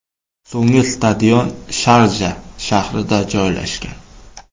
So‘nggi stadion Sharja shahrida joylashgan.